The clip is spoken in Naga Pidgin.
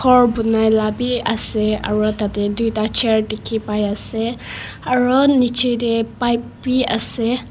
khor bunai la bi ase aro tate duita chair dikhi pai ase aro nichete pipe bi ase.